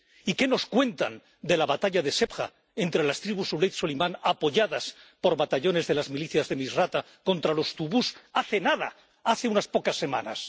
¿Y qué nos cuentan de la batalla de Sebha entre las tribus aulad Suleimán, apoyadas por batallones de las milicias de Misrata, contra los tubús hace nada, hace unas pocas semanas?